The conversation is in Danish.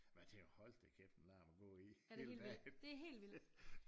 Men jeg tænker hold da kæft en larm at gå i hele dagen